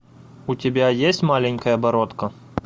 у тебя есть маленькая бородка